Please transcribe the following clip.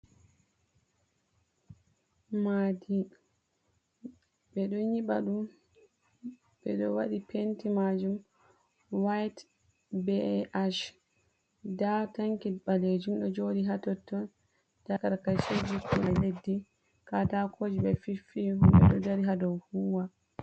Maadi ɓe ɗo nyiɓa ɗum ɓe ɗo waɗi penti majum white bh nda tanki ɓalejum ɗo joodi ha totto da 4rakacheji koma leddi ka takoji be fiffi medo dari hado huwa.